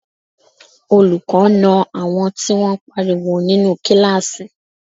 Olùkọ́ na àwọn tí wọ́n pariwo nínú kíláàsì